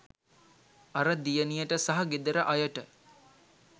අර දියණියට සහ ගෙදර අයට